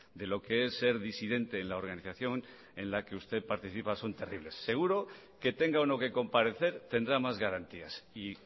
de lo que es ser disidente en la organización en la que usted participa son terribles seguro que tenga o no que comparecer tendrá más garantías y